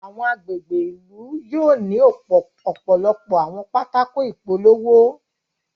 Awọn agbègbè ìlú yóò ni ọpọlọpọ àwọn pátákó ìpolówó